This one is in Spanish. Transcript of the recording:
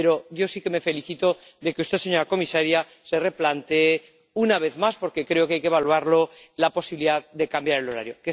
Pero yo sí que me felicito de que usted, señora comisaria, se replantee, una vez más —porque creo que hay que evaluarlo—, la posibilidad de cambiar el horario.